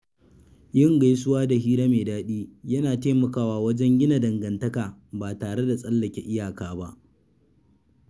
Yin gaisuwa da hira mai daɗi yana taimakawa wajen gina dangantaka ba tare da tsallake iyaka ba.